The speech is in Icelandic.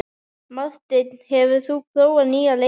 Marteinn, hefur þú prófað nýja leikinn?